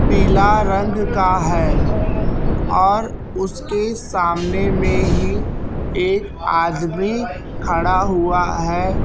पीला रंग का है और उसके सामने में ही एक आदमी खड़ा हुआ है।